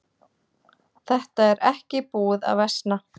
Þetta er ekki búið að versna.